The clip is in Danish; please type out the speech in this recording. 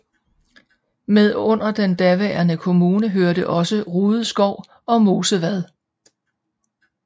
Med under den daværende kommune hørte også Rydeskov og Mosevad